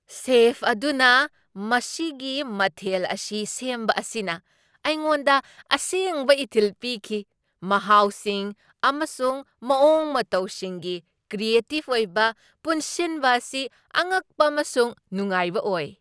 Safe ꯑꯗꯨꯅ ꯃꯁꯤꯒꯤ ꯃꯊꯦꯜ ꯑꯁꯤ ꯁꯦꯝꯕ ꯑꯁꯤꯅ ꯑꯩꯉꯣꯟꯗ ꯑꯁꯦꯡꯕ ꯏꯊꯤꯜ ꯄꯤꯈꯤ, ꯃꯍꯥꯎꯁꯤꯡ ꯑꯃꯁꯨꯡ ꯃꯑꯣꯡ ꯃꯇꯧꯁꯤꯡꯒꯤ ꯀ꯭ꯔꯤꯑꯦꯇꯤꯚ ꯑꯣꯏꯅ ꯄꯨꯟꯁꯤꯟꯕ ꯑꯁꯤ ꯑꯉꯛꯄ ꯑꯃꯁꯨꯡ ꯅꯨꯡꯉꯥꯏꯕ ꯑꯣꯏ꯫